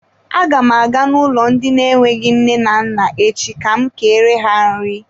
Aga m aga n'ụlọ ndị na-enweghị nne na nna echi ka m kere ha nri.